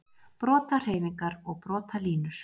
Brotahreyfingar og brotalínur